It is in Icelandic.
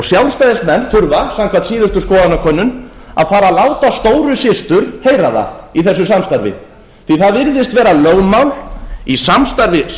sjálfstæðismenn þurfa samkvæmt síðustu skoðanakönnun að fara að láta stóru systur heyra það í þessu samstarfi því að það virðist vera lögmál í samstarfi sjálfstæðisflokks